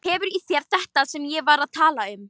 Hefur í þér þetta sem ég var að tala um.